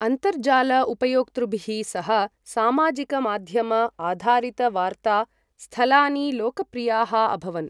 अन्तर्जाल उपयोक्तृभिः सह सामाजिक माध्यम आधारित वार्ता स्थलानि लोकप्रियाः अभवन् ।